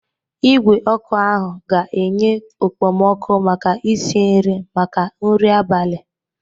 Igwe ọkụ ahụ ga-enye okpomọkụ maka isi nri maka nri abalị.